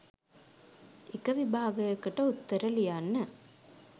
එක විභාගයකට උත්තර ලියන්න